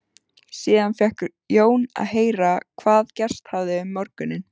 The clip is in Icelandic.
Síðan fékk Jón að heyra hvað gerst hafði um morguninn.